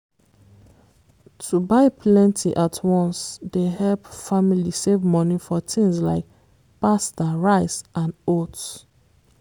to buy plenty at once dey help family save money for things like pasta rice and oats.